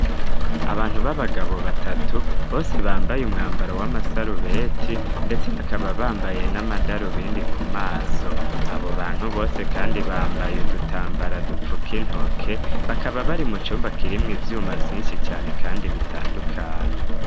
Abantu b'abagabo batatu bose bambaye umwambaro w'amasarubeti, ndetse bakaba bambaye n'amadaru bindi ku maso abo bantu bose, kandi bambaye udutambara dupfuk intoke bakaba bari mu cumba kirimwo ivyuma vyinshi cane, kandi bitandukanye.